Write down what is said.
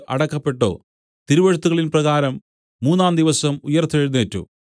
അടക്കപ്പെട്ടു തിരുവെഴുത്തുകളിൻപ്രകാരം മൂന്നാംദിവസം ഉയിർത്തെഴുന്നേറ്റു